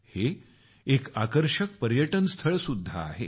हे एक आकर्षक पर्यटन स्थळसुद्धा आहे